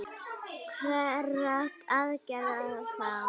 Hverra aðgerða þá?